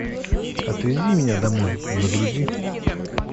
отвези меня домой загрузи